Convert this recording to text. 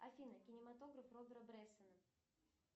афина кинематограф робера брессона